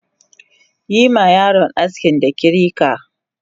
Yima yaron aski da kirika!